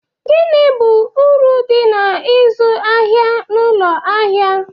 Gini bụ uru dị na ịzụ ahịa n'ụlọ ahịa?